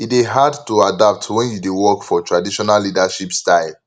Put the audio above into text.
e dey hard to adapt wen you dey work for traditional leadership style